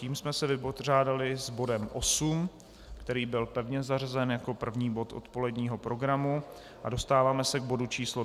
Tím jsme se vypořádali s bodem 8, který byl pevně zařazen jako první bod odpoledního programu, a dostáváme se k bodu číslo